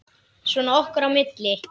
Svona okkar á milli.